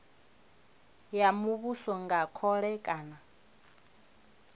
ya muvhuso nga khole kana